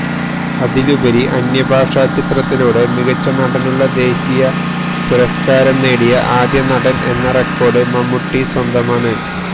അതിലുപരി അന്യഭാഷ ചിത്രത്തിലൂടെ മികച്ച നടനുള്ള ദേശീയ പുരസ്കാരം നേടിയ ആദ്യ നടന് എന്ന റെക്കോര്ഡ് മമ്മൂട്ടി സ്വന്തമാണ്